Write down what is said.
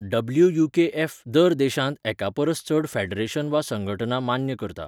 WUKF दर देशांत एकापरस चड फेडरेशन वा संघटना मान्य करता.